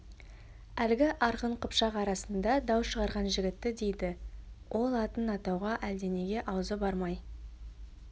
әлгі арғын қыпшақ арасында дау шығарған жігітті деді ол атын атауға әлденеге аузы бармай